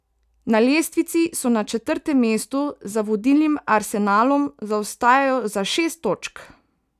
Na lestvici so na četrtem mestu, za vodilnim Arsenalom zaostajajo za šest točk.